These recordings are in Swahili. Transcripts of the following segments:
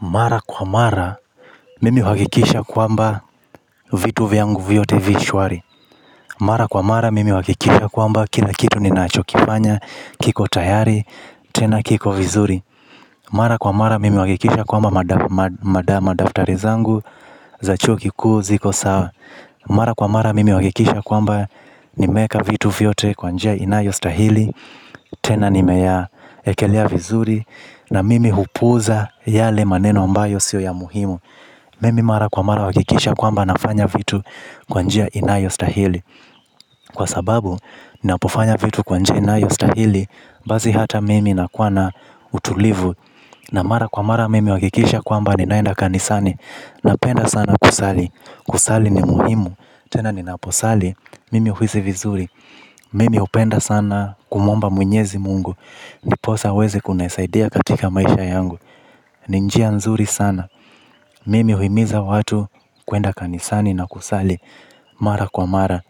Mara kwa mara mimi uhakikisha kwamba vitu vyangu vyote vishwari. Mara kwa mara mimi uhakikisha kwamba kina kitu ninachokifanya kiko tayari tena kiko vizuri. Mara kwa mara mimi uhakikisha kwamba madama daftarizangu za chuo ki kuu ziko sawa. Mara kwa mara mimi uhakikisha kwamba nimeeka vitu vyote kwanjia inayo stahili. Tena nimeya ekelia vizuri. Na mimi hupuza yale maneno ambayo sio ya muhimu mimi mara kwa mara uhakikisha kwamba nafanya vitu kwa njia inayostahili kwa sababu napofanya vitu kwa njia inayostahili basi ata mimi nakuwa na utulivu. Na mara kwa mara mimi uhakikisha kwamba ninaenda kanisani. Napenda sana kusali. Kusali ni muhimu. Tena nina posali mimi huisi vizuri mimi hupenda sana kumuomba mwenyezi mungu ndiposa aweze kunisaidia katika maisha yangu. Ninjia nzuri sana. Mimi huimiza watu kuenda kanisani na kusali. Mara kwa mara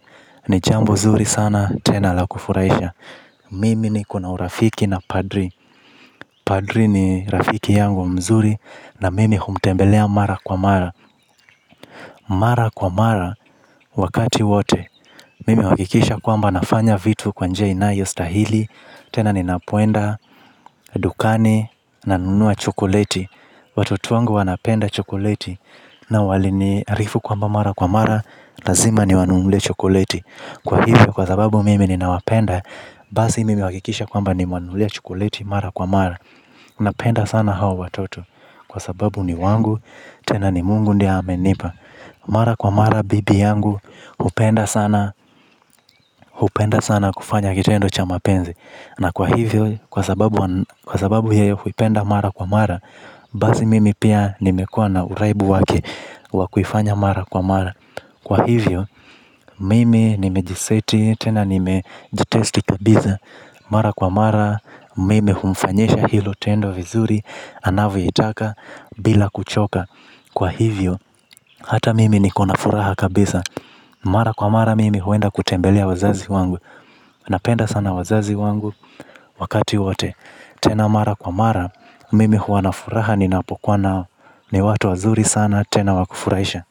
nijambo nzuri sana tena la kufuraisha. Mimi ni kuna urafiki na padri. Padri ni rafiki yangu mzuri. Na mimi humtembelea mara kwa mara. Mara kwa mara wakati wote mimi uhakikisha kwamba nafanya vitu kwanjia inayo stahili. Tena ni napoenda dukani na nunua chokoleti. Watoto wangu wanapenda chokoleti. Na wali ni arifu kwa mba mara kwa mara lazima ni wanunulie chokoleti. Kwa hivyo kwa sababu mimi ni nawapenda. Basi mimi uhakikisha kwamba nimewanunulia chokoleti mara kwa mara napenda sana hawa watoto. Kwa sababu ni wangu. Tena ni mungu ndiye amenipa. Mara kwa mara bibi yangu upenda sana. Upenda sana kufanya kitendo cha mapenzi. Na kwa hivyo, kwa sababu yeye huipenda mara kwa mara. Basi mimi pia nimekua na uraibu wake wakuifanya mara kwa mara. Kwa hivyo, mimi nimejiseti, tena nimejitesti kabiza. Mara kwa mara, mimi humfanyisha hilo tendo vizuri, anavo itaka, bila kuchoka. Kwa hivyo, hata mimi nikona furaha kabisa. Mara kwa mara, mimi huenda kutembelea wazazi wangu napenda sana wazazi wangu wakati wote tena mara kwa mara mimi huwa na furaha ninapokuwa nao ni watu wazuri sana tena wakufurahisha.